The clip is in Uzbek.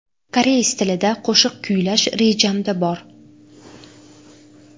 Koreys tilida qo‘shiq kuylash rejamda bor.